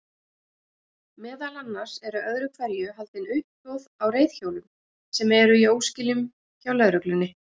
Meðal annars eru öðru hverju haldin uppboð á reiðhjólum sem eru í óskilum hjá lögreglunni.